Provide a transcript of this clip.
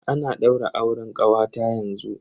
Ana daura auren kawata yanzu.